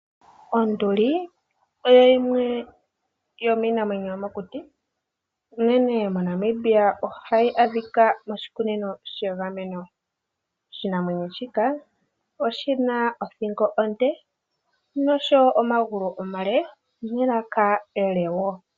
Onduli oyo yimwe yomiinamwenyo yomokuti, unene moNamibia ohayi adhika moshikunino shegameno. Oshinamwenyo shika oshi na othingo onde noshowo omagulu omale nelaka ele wo.